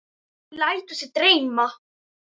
Hún lætur sig dreyma.